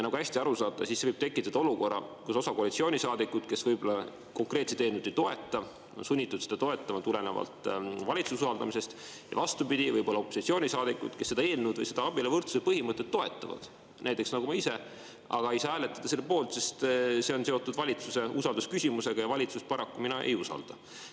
Nagu te hästi aru saate, siis see võib tekitada olukorra, kus osa koalitsioonisaadikuid, kes võib-olla konkreetset eelnõu ei toeta, on sunnitud seda toetama tulenevalt valitsuse usaldamise, ja vastupidi, võib-olla opositsioonisaadikud, kes seda eelnõu või seda abieluvõrdsuse põhimõtet toetavad, näiteks nagu ma ise, ei saa hääletada selle poolt, sest see on seotud valitsuse usaldusküsimusega ja valitsust mina paraku ei usalda.